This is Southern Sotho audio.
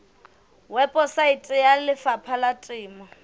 weposaeteng ya lefapha la temo